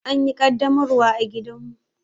An yi ƙaddamarwar a gidanmu.